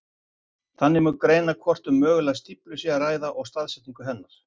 Þannig má greina hvort um mögulega stíflu sé að ræða og staðsetningu hennar.